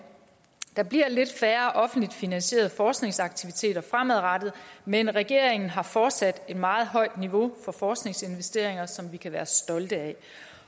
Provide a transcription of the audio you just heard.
der bliver lidt færre offentligt finansierede forskningsaktiviteter fremadrettet men regeringen har fortsat et meget højt niveau for forskningsinvesteringer som vi kan være stolte af